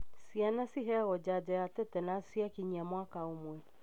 Ciana ciheagwo janjo ya tetenus ciakinyia mwaka ũmwe.